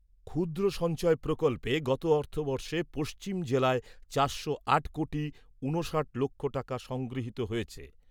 ক্ষুদ্র সঞ্চয় প্রকল্পে গত অর্থবর্ষে পশ্চিম জেলায় চারশো কোটি ঊনষাট লক্ষ টাকা সংগৃহীত হয়েছে।